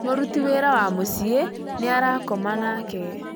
Mũruti wĩra wa mũciĩ nĩara koma nake